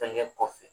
Fɛnkɛ kɔfɛ